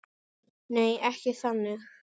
Nei, ekki þannig.